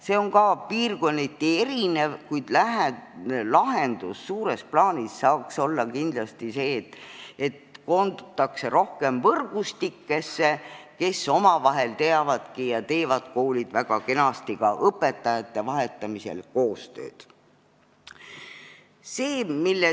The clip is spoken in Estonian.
See on ka piirkonniti erinev, kuid lahendus suures plaanis saaks kindlasti olla see, et koondutakse rohkem võrgustikesse ja koolid teevad väga kenasti õpetajate vahetamisel koostööd.